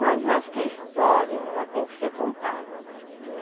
Mas eu acho que a história ela tem que ser contada, né.